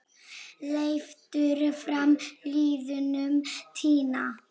Leiftur frá liðnum tíma.